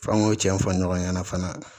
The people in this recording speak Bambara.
F'an k'o cɛ in fɔ ɲɔgɔn ɲɛna fana